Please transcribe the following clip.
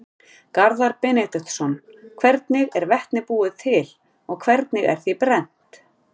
Garðar Benediktsson: Hvernig er vetni búið til og hvernig er því brennt?